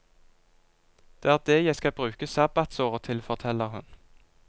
Det er det jeg skal bruke sabbatsåret til, forteller hun.